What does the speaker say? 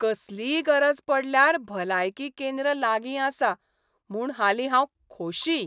कसलीय गरज पडल्यार भलायकी केंद्र लागीं आसा म्हूण हालीं हांव खोशी.